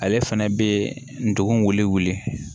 Ale fɛnɛ bɛ ndugun wili wili